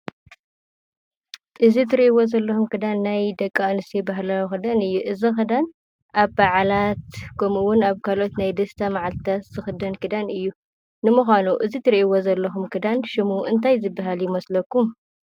እዚ እትሪእዎ ዘለኩም ክዳን ናይ ደቂ አንስትዮ ባህላዊ ክዳን እዩ፡፡ እዚ ክዳን አብ በዓላት ከምኡ እውን አብ ካልኦት ናይ ደስታ መዓልትታት ዝክደን ክዳን እዩ። ንምኳኑ እዚ እትሪእዎ ዘለኩም ክዳን ሹሙ እንታይ ይበሃል ይመስለኩም?